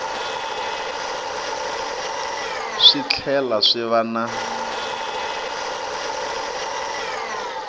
swi tlhela swi va na